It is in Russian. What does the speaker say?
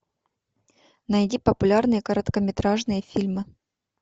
найди популярные короткометражные фильмы